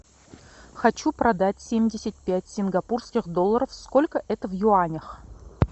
хочу продать семьдесят пять сингапурских долларов сколько это в юанях